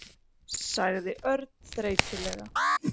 sagði Örn þreytulega.